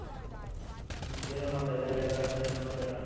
ಹ್ಮ್ಎನ್ ಮಾಡ್ತಾ ಇದ್ದೀರ ಈಗ ಎನ್ ಸಮಾಚಾರ ?